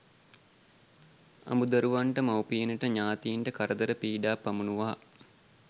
අඹු දරුවන්ට මවුපියනට, ඤාතීන්ට කරදර පීඩා පමුණුවා